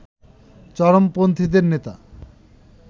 চরমপন্থীদের নেতা